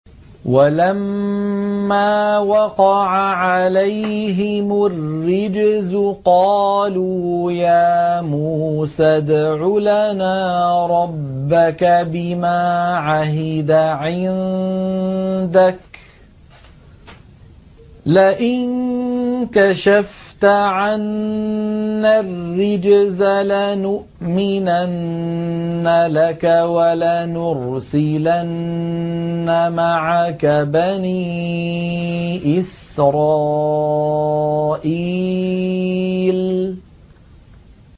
وَلَمَّا وَقَعَ عَلَيْهِمُ الرِّجْزُ قَالُوا يَا مُوسَى ادْعُ لَنَا رَبَّكَ بِمَا عَهِدَ عِندَكَ ۖ لَئِن كَشَفْتَ عَنَّا الرِّجْزَ لَنُؤْمِنَنَّ لَكَ وَلَنُرْسِلَنَّ مَعَكَ بَنِي إِسْرَائِيلَ